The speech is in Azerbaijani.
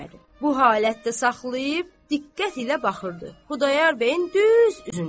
Bu halətdə saxlayıb diqqət ilə baxırdı Xudayar bəyin düz üzünə.